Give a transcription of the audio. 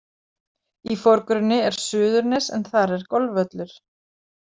Í forgrunni er Suðurnes en þar er golfvöllur.